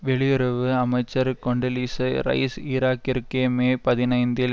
வெளியுறவு அமைச்சர் Condoleezza Rice ஈராக்கிற்கு மே பதினைந்தில்